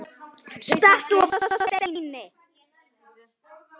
Stattu og vertu að steini